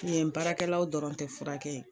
Yen baarakɛlaw dɔrɔn tɛ fura kɛ ye.